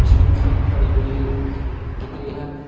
Jeans pant पड़ी हुईदिख रहीहैं।